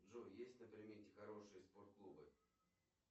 джой есть на примете хорошие спорт клубы